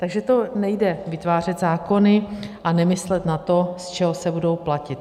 Takže to nejde vytvářet zákony a nemyslet na to, z čeho se budou platit.